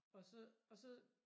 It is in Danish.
Og så og så